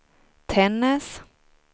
Tännäs